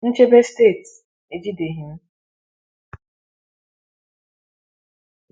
Nchebe Steeti ejideghị m.